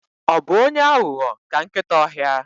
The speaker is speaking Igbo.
Ọ bụ onye aghụghọ ka nkịta ọhịa?